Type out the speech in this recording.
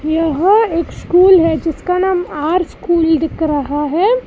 यह एक स्कूल है जिसका नाम आर स्कूल दिख रहा है।